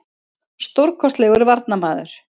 Stórkostlegur varnarmaður.